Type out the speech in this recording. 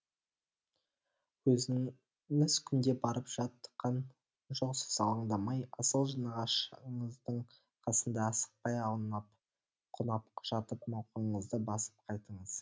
өзіңіз күнде барып жатқан жоқсыз алаңдамай асыл нағашыңыздың қасында асықпай аунап қунап жатып мауқыңызды басып қайтыңыз